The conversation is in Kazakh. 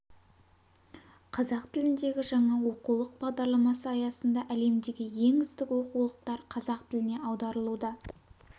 қазақ тіліндегі жаңа оқулық бағдарламасы аясында әлемдегі ең үздік оқулықтар қазақ тіліне аударылуда